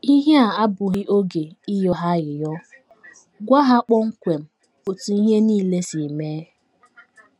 Ihe a abụghị oge ịghọ ha aghụghọ; gwa ha kpọmkwem otú ihe nile si mee.